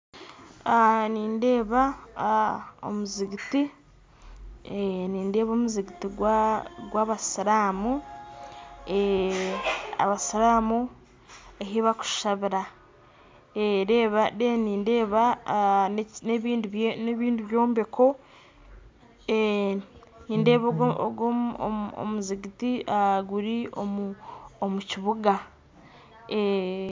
Nindeeba omuzinginti gw'abasiiramu ahu bakushabira kandi hariho n'ebindi byombeko, ogu omuzinginti guri omu kibuga